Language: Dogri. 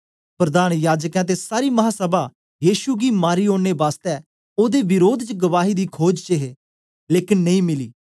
प्रधान याजकें ते सारी महासभा यीशु गी मारी ओड़ने बासतै ओदे विरोध च गवाही दी खोज च हे लेकन नेई मिली